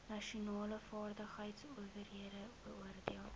nasionale vaardigheidsowerheid beoordeel